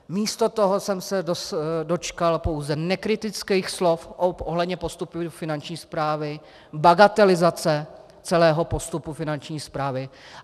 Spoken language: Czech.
Místo toho jsem se dočkal pouze nekritických slov ohledně postupu Finanční správy, bagatelizace celého postupu Finanční správy.